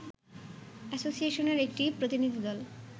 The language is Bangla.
অ্যাসোসিয়েশনের একটি প্রতিনিধিদল